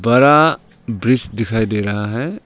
बड़ा वृक्ष दिखाई दे रहा है।